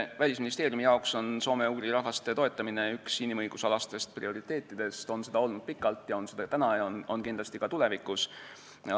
Välisministeeriumi jaoks on soome-ugri rahvaste toetamine üks inimõigusalastest prioriteetidest, on seda olnud pikalt, on seda täna ja on kindlasti ka tulevikus.